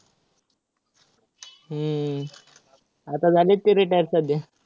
हम्म आता झालेत ते retire सध्या.